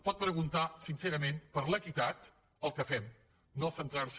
pot preguntar sincerament per l’equitat el que fem no centrar se